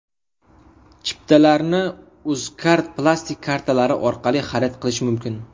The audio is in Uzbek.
Chiptalarni Uzkard plastik kartalari orqali xarid qilish mumkin.